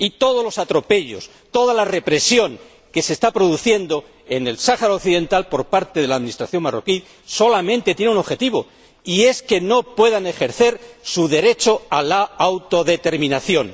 Y todos los atropellos, toda la represión que se está produciendo en el Sáhara Occidental por parte de la administración marroquí solamente tiene un objetivo que no puedan ejercer su derecho a la autodeterminación.